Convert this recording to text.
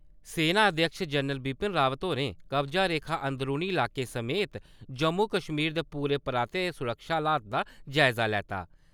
सेना अध्यक्ष जनरल बिपिन रावत होरें कब्जा रेखा ते अंदरूनी लाकें समेत जम्मू कश्मीर दे पूरे पराते सुरक्षा हालात दा जायजा लैता।